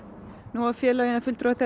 nú hafa félögin